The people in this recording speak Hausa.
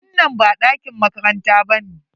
Wannan ba ɗakin makaranta ba ne?